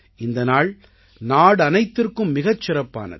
இந்த நாள் நாடனைத்திற்கும் மிகச் சிறப்பானது